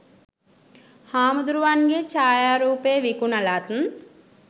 හාමුදුරුවන්ගේ ඡායාරූපය විකුණලත්